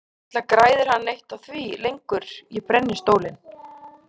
Varla græðir hann neitt á því lengur að ég brenni stólinn.